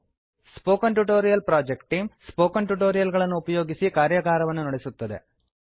spoken tutorial project ಟೀಮ್160 spoken tutorial ಗಳನ್ನು ಉಪಯೋಗಿಸಿ ಕಾರ್ಯಾಗಾರಗಳನ್ನು ನಡೆಸುತ್ತದೆ